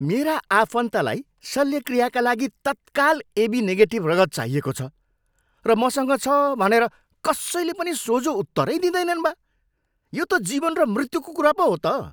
मेरा आफन्तलाई शल्यक्रियाका लागि तत्काल एबी निगेटिभ रगत चाहिएको छ, र मसँग छ भनेर कसैले पनि सोझो उत्तरै दिँदैनन् बा। यो त जीवन र मृत्युको कुरा पो हो त!